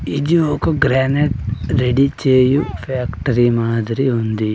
ఇది ఒక granite ready చేయు ఫ్యాక్టరీ మాదిరి ఉంది.